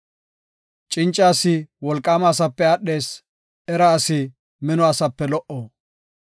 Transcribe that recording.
Cinca asi wolqaama asape aadhees; era asi mino asape lo77o.